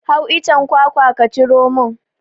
Hau icen kwakwa ka ciro min!